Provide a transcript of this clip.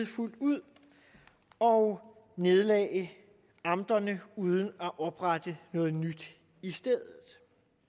fuldt ud og nedlagde amterne uden at oprette noget nyt i stedet